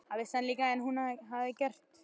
Það vissi hann líka að hún hafði gert.